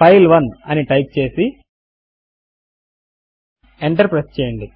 ఫైల్1 అని టైప్ చేసి enter press చేయండి